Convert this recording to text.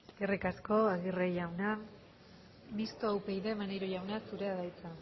eskerrik asko aguirre jauna mistoa upyd maneiro jauna zurea da hitza